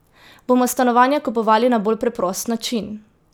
Bomo stanovanja kupovali na bolj preprost način?